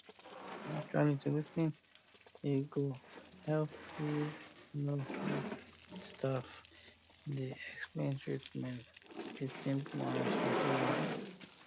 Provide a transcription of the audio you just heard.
actuallyto lis ten e go um help you know when staff dey explain treatment with simple and respectful words